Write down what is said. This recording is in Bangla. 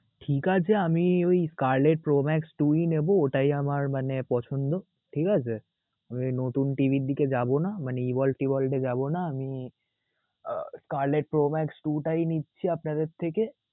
ঠিকাছে আমি ওই scarlet pro max two ই নেবো ওটাই আমার মানে পছন্দ ঠিকাছে ওই নতুন TV র দিকে যাব না মানে টে যাব না আমি আহ scarlet pro max two টাই নিচ্ছি আপনাদের থেকে.